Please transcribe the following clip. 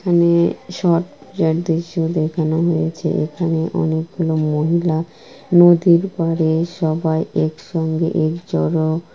এখানে সব যা দৃশ্যে দেখানো হয়েছে। এখানে অনেকগুলো মহিলা নদীর পাড়ে সবাই একসঙ্গে এক জোড়া।